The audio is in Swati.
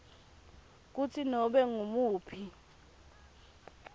kutsi nobe ngumuphi